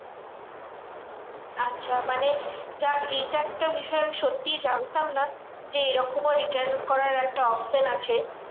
আচ্ছা মানে যাক এইটা একটা বিষয় আমি সত্যি জানতাম না যে এইরকমও return করার একটা option আছে?